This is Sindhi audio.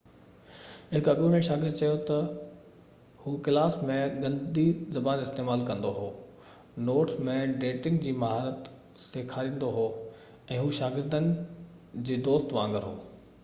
هڪ اڳوڻي شاگرد چيو ته هو ڪلاس ۾ گندي زبان استعمال ڪندو هو نوٽس ۾ ڊيٽنگ جي مهارت سيکاريندو هو ۽ هو شاگردن جي دوست وانگر هو